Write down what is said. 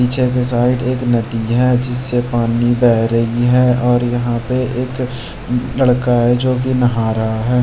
पीछे के साइड एक नदी है जिससे पानी बह रही है और यहाँ पे एक लड़का है जो कि नहा रहा है।